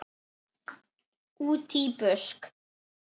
Útí busk.